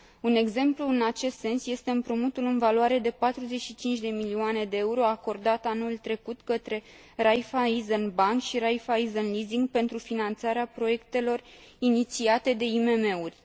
Un exemplu în acest sens este împrumutul în valoare de 45 de milioane euro acordat anul trecut către Raiffeisen Bank și Raiffeisen Leasing pentru finanțarea proiectelor inițiate de IMM uri.